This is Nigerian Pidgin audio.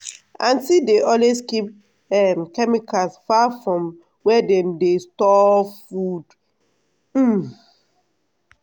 aunty dey always keep um chemicals far from where dem dey store food. um